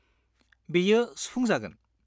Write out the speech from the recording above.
बेयो सुफुंजागोन।